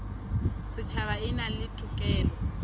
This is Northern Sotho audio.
setšhaba e na le tokelo